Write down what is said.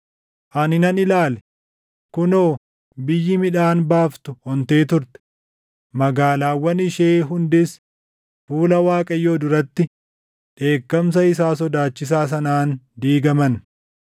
Ani nan ilaale; kunoo biyyi midhaan baaftu ontee turte; magaalaawwan ishee hundis, // fuula Waaqayyoo duratti dheekkamsa isaa sodaachisaa sanaan diigaman.